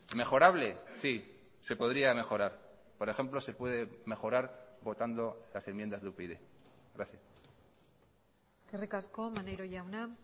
mejorable sí se podría mejorar por ejemplo se puede mejorar votando las enmiendas de upyd gracias eskerrik asko maneiro jauna